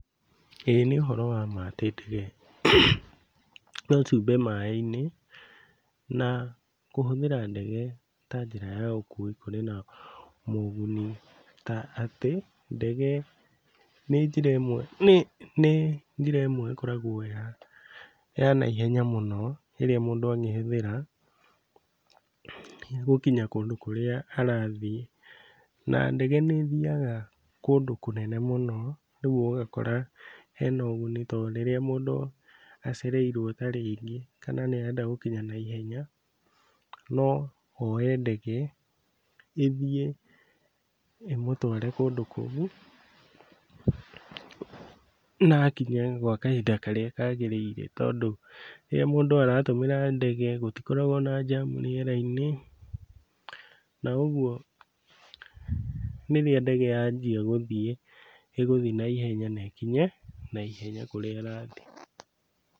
Ĩĩ nĩ ũhoro wa ma atĩ ndege no ciũmbe maĩ-inĩ na kũhũthĩra ndege ta njĩra ya ũkui kũrĩ na moguni ta atĩ ndege nĩ njĩra ĩmwe nĩ nĩ njĩra ĩmwe ĩkoragwo ya naihenya mũno ĩrĩa mũndũ angĩhũthĩra gũkinya kũndũ kũrĩa arathiĩ. Na, ndege nĩĩthiaga kũndũ kũnene mũno, rĩu ũgakora hena ũguni tondũ rĩrĩa mũndũ acereirwo ta rĩngĩ kana nĩarenda gũkinya naihenya, no oe ndege ĩthiĩ ĩmũtware kũndũ kũu na akinya gwa kahinda karĩa kagĩrĩire tondũ rĩrĩa mũndũ aratũmĩra ndege gũtikoragwo na jam u rĩera-inĩ, na ũguo rĩrĩa ndege yanjia gũthiĩ, ĩgũthiĩ naihenya na ĩkinye naihenya kũrĩa ĩrathiĩ.